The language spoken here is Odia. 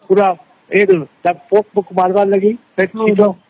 ତାର ପୋକ ପୋକ ମାରିବା ଲାଗି